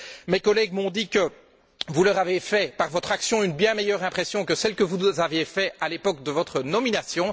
Mes collègues m'ont dit que vous leur avez fait, par votre action, une bien meilleure impression que celle que vous nous aviez faite à l'époque de votre nomination.